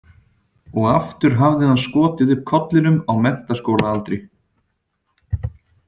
Og aftur hafði hann skotið upp kollinum á menntaskólaaldri.